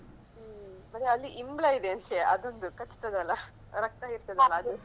ಹ್ಮ್. ಮತ್ತೆ ಅಲ್ಲಿ ಇಂಬ್ಲಾ ಇದೆ ವಿಷಯ ಅದೊಂದು ಕಚ್ತಾದಲ್ಲ ರಕ್ತ ಹಿರ್ತದಲ್ಲ ಅದು.